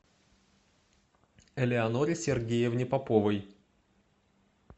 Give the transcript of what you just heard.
элеоноре сергеевне поповой